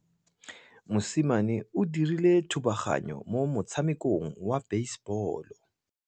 Mosimane o dirile thubaganyô mo motshamekong wa basebôlô.